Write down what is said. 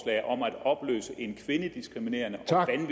om at opløse en kvindediskriminerende